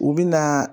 U bɛ na